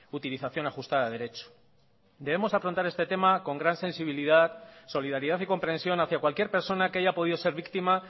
utilización ajustada de derecho debemos afrontar este tema con gran sensibilidad solidaridad y comprensión hacia cualquier persona que haya podido ser víctima